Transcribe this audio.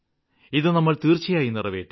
ഇത് നമ്മള് തീര്ച്ചയായും നിറവേറ്റും